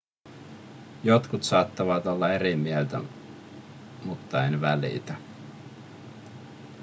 jotkut saattavat olla eri mieltä mutta en välitä